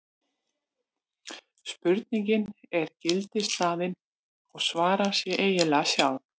spurningin er gildishlaðin og svarar sér eiginlega sjálf